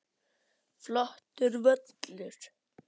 Flottur völlur.